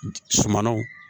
Sumanw